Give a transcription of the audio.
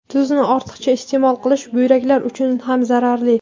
Tuzni ortiqcha iste’mol qilish buyraklar uchun ham zararli.